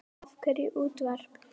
Af hverju útvarp?